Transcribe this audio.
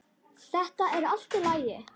Þetta er allt í lagi.